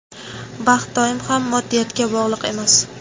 baxt doim ham moddiyatga bog‘liq emas.